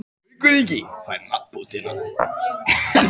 En Haukur Ingi fær nafnbótina.